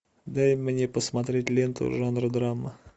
дай мне посмотреть ленту жанра драма